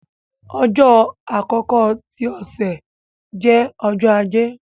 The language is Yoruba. ọjọ àkọkọ ti ọsẹ jẹ Ọjọ́ Ajé.